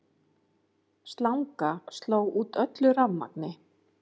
Slanga sló út öllu rafmagni